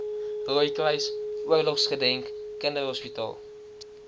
rooikruis oorlogsgedenk kinderhospitaal